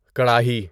کڑاہی